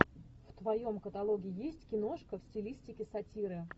в твоем каталоге есть киношка в стилистике сатиры